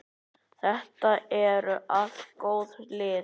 Þetta eru allt góð lið.